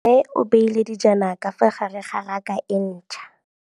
Mmê o beile dijana ka fa gare ga raka e ntšha.